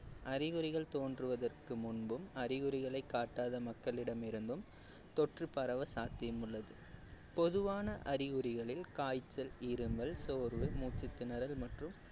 அறிகுறிகள் தோன்றுவதற்கு முன்பும் அறிகுறிகளை காட்டாத மக்களிடம் இருந்தும் தொற்று பரவ சாத்தியம் உள்ளது பொதுவான அறிகுறிகளில் காய்ச்சல் இருமல் சோர்வு மூச்சுத்திணறல் மற்றும்